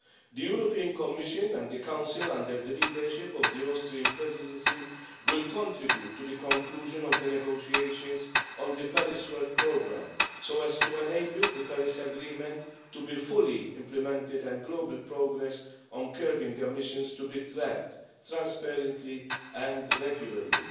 The European Commission and the Council, under the leadership of the Austrian Presidency, will contribute to the conclusion of the negotiations on the Paris work programme, so as to enable the Paris agreement to be fully implemented and global progress on curbing emissions to be tracked transparently and regularly.